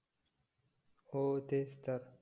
हो तेच तर